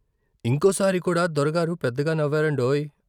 ఇంకోసారి కూడా దొరగారు పెద్దగా నవ్వారండోయ్!